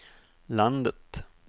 landet